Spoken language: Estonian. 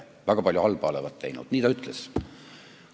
Ja väga palju halba olevat teinud, nii ta ütles.